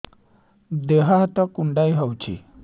ଦେହ ହାତ କୁଣ୍ଡାଇ ହଉଛି